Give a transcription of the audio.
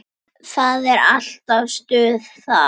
Það er alltaf stuð þar.